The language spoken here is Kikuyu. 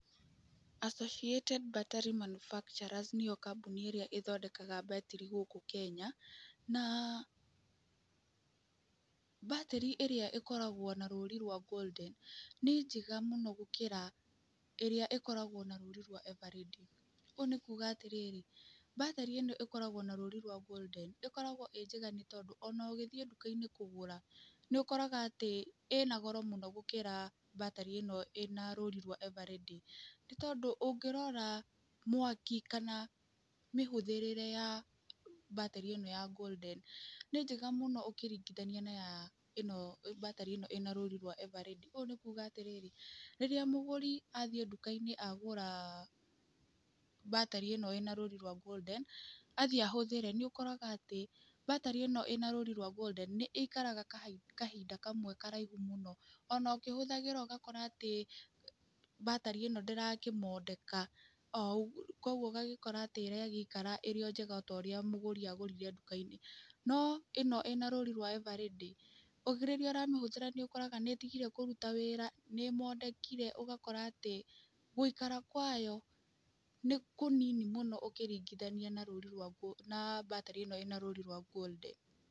Associated Battery Manufacturers nĩyo kambuni ĩrĩa ĩthondekaga batari gũkũ Kenya. Na batari ĩrĩa ĩkoragwo na rũũri rwa Golden nĩ njega mũno gũkĩra ĩrĩa ĩkoragwo na rũũri rwa Eveready. Ũũ nĩ kuuga atĩrĩrĩ batari ĩno ĩkoragwo na rũũri rwa Golden ĩkoragwo ĩĩ njega nĩ tondũ ona ũgĩthiĩ nduka-inĩ kũgũra nĩ ũkoraga atĩ ĩna goro gũkĩra batari ĩno ĩna rũũri rwa Eveready, nĩ tondũ ũngĩrora mwaki kana mĩhũthĩrĩre ya batari ĩno ya Golden, nĩ njega mũno ũngĩringithania na batari ĩno ĩna rũũri rwa Eveready. Ũũ nĩ kuuga atĩrĩrĩ rĩrĩa mũgũri athiĩ nduka-inĩ agũra batari ĩno ĩna rũũri rwa Golden athiĩ ahũthĩre, nĩ ũkoraga atĩ batari ĩno ĩna rũũri rwa Golden nĩ ĩikagara kahinda kamwe karaihu mũno. Ona ũkĩhũthĩra ũgakora atĩ batari ĩno ndĩrakĩmondeka oo, koguo ũgagĩkora atĩ ĩraikara o wega o ũrĩa mũgũri agũrire nduka-inĩ. No ĩno ĩna rũũri rwa Eveready rĩrĩa ũramĩhũthĩra nĩ ũkoraga nĩ ĩtigire kũruta wĩra, nĩ ĩmondekire, ũgakora atĩ gũikara kwayo nĩ kũnini mũno ũkĩringithania na batari ĩno ĩna rũũri rwa Golden.